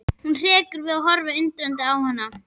Hún hrekkur við og horfir undrandi á hann.